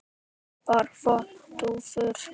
Bara flottar dúfur.